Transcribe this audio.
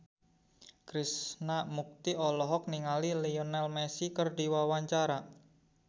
Krishna Mukti olohok ningali Lionel Messi keur diwawancara